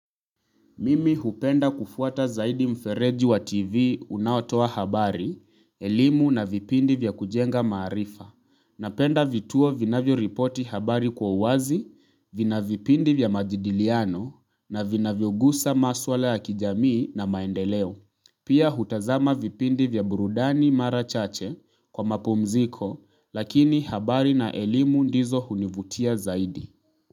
Mimi hupenda kufuata zaidi mfereji wa TV unaotoa habari, elimu na vipindi vya kujenga maarifa. Napenda vituo vinavyo ripoti habari kwa uwazi, vinavipindi vya majidiliano na vinavyo gusa maswala ya kijamii na maendeleo. Pia hutazama vipindi vya burudani mara chache kwa mapumziko lakini habari na elimu ndizo hunivutia zaidi.